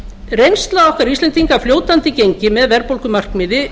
reynsla okkar íslendinga af fljótandi gengi með verðbólgumarkmiði